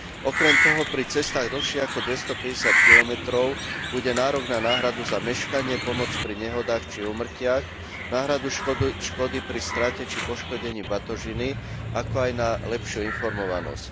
Okrem toho pri cestách dlhších ako 250 km bude nárok na náhradu za meškanie, pomoc pri nehodách či úmrtiach, náhradu škody pri strate či poškodení batožiny, ako aj na lepšiu informovanosť.